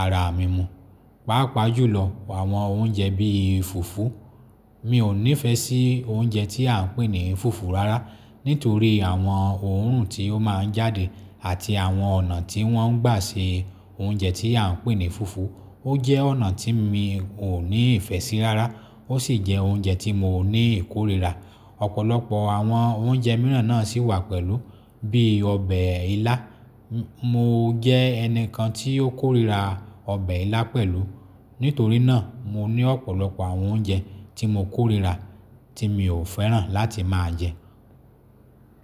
ara mi mu. Pápa jùlọ àwọn oúnjẹ bí i fùfú. Mi ò nífẹ̀ẹ́ sí oúnjẹ tí à ń pè ní fùfú rárá, nítorí àwọn òórùn tí ó máa ń jáde àti àwọn ọ̀nà tí wọ́n ń gbà se oúnjẹ tí à ń pè ní fùfú, ó jẹ́ ọ̀nà tí mi ò ní ìfẹ́ sí rárá, ó sì jẹ́ oúnjẹ tí mo ní ìkórìíra. Ọ̀pọ̀lọpọ̀ àwọn oúnjẹ mìíràn náà sì wà pẹ̀lú, bí i ọbẹ̀ ilá. Mo jẹ́ ẹnìkan tí ó kórìíra ọbẹ̀ ilá pẹ̀lú, nítorí náà mo ní ọ̀pọ̀lọpọ̀ àwọn oúnjẹ tí mo kórìíra tí mi ò fẹ́ràn láti máa jẹ.